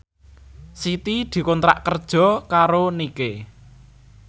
Siti dikontrak kerja karo Nike